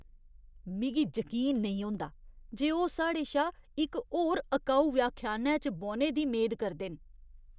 मिगी जकीन नेईं होंदा जे ओह् साढ़े शा इक होर अकाऊ व्याख्यानै च बौह्ने दी मेद करदे न।